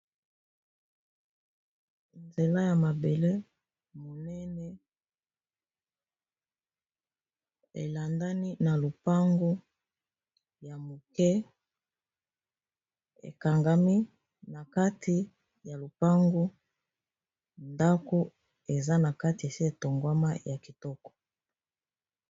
nzela ya mabele monene elandani na lopango ya moke ekangami na kati ya lopango ndako eza na kati esi etongwama ya kitoko